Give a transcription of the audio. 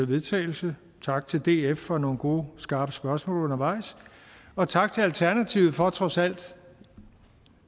vedtagelse tak til df for nogle gode skarpe spørgsmål undervejs og tak til alternativet for trods alt